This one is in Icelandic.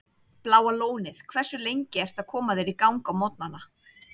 Bláa Lónið Hversu lengi ertu að koma þér í gang á morgnanna?